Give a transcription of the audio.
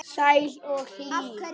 Sæt og hlý.